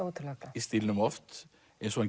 í stílnum oft eins og hann